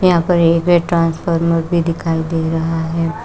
यहां पर ट्रांसफार्मर भी दिखाई दे रहा है।